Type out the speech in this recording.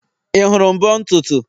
Ị hụrụ mbo ntutu?